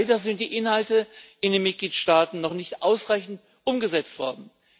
Leider sind die Inhalte in den Mitgliedstaaten noch nicht ausreichend umgesetzt worden.